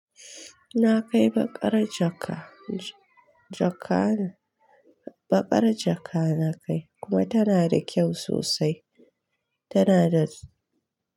Na kai baƙar jaka, jaka ne, baƙar jaka na kai kuma tana da kyau sosai. Tana da.